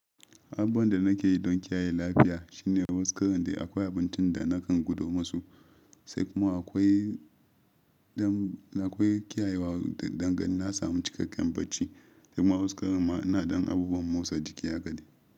Abun da nake yi don kiyaye lafiya shine wasu karan dai da akwai abincin da nakan gudo musu, sai kuma akwai kiyayewa dangane da na samu cikakken barci, sai kuma warkarwar ma ina don abubuwan motsa jiki yaƙadi.